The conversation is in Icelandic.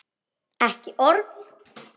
Ekki orð.